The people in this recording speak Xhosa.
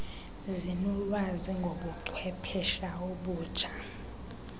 zinolwazi ngobuchwephesha obutsha